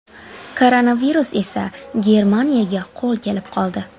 Koronavirus esa Germaniyaga qo‘l kelib qoldi.